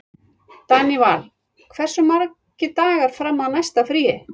Daníval, hversu margir dagar fram að næsta fríi?